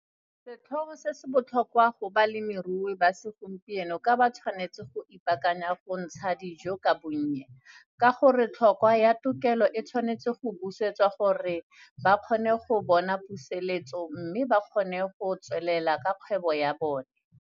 Setlhogo se se botlhokwa go balemirui ba segompieno ka ba tshwanetse go ipaakanya go ntsha dijo ka bonnye, ka gore tlhotlhwa ya tokelo e tshwanetswe go busetswa gore ba kgone go bona puseletso mme ba kgone go tswelela ka kgwebo ya bone.